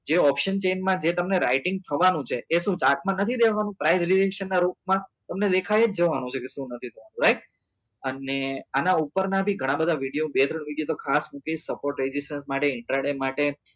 જે option chain માં જે તમને writing થવા નું છે એ શું price relation ના રૂપ માં તમને દેખાઈ જ જવા નું છે કે સુ નથી થવા નું right અને આના ઉપર ના બી ઘણા બધા video બે ત્રણ video તો ખાસ મુકીસ supportitation માટે માટે